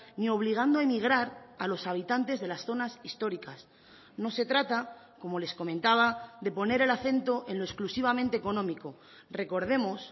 ni obligando a emigrar a los habitantes de las zonas históricas no se trata como les comentaba de poner el acento en lo exclusivamente económico recordemos